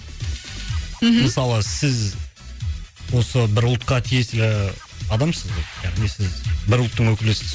мхм мысалы сіз осы бір ұлтқа тиесілі і адамсыз ғой яғни сіз бір ұлттың өкілісіз